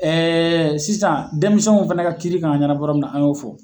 sisan denmisɛnw fɛnɛ ka kiiri k'a ɲɛnabɔ yɔrɔ min na an y'o fɔ.